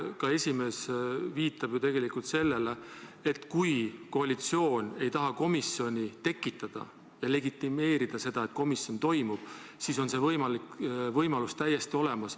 Ka esimees viitab ju tegelikult sellele, et kui koalitsioon ei taha komisjoni kokku kutsuda ja legitimeerida seda, et komisjoni istung toimub, siis on see võimalus tal täiesti olemas.